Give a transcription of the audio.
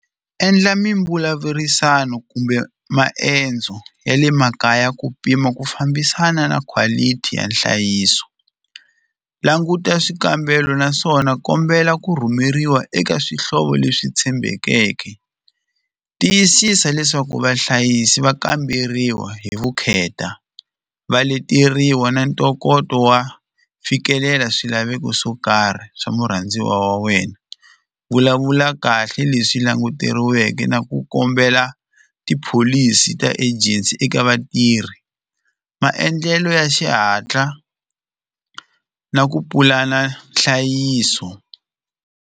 Endla mimbulavurisano kumbe maendzo ya le makaya ku pima ku fambisana na quality ya nhlayiso languta swikambelo naswona kombela ku rhumeriwa eka swihlovo leswi tshembekeke tiyisisa leswaku vahlayisi va kamberiwa hi vukheta va leteriwa na ntokoto wa fikelela swilaveko swo karhi swa murhandziwa wa wena vulavula kahle leswi languteriweke na ku kombela tipholisi ta angency eka vatirhi maendlelo ya xihatla na ku pulana nhlayiso.